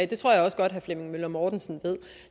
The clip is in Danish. det tror jeg også godt herre flemming møller mortensen ved